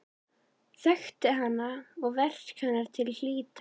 Þekkti hana og verk hennar til hlítar.